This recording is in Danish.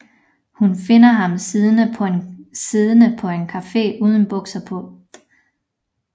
Hun finder ham siddende på en café uden bukser på